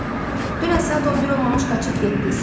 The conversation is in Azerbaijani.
Dorian, dünən saat 11 olmamış qaçıb getdiz.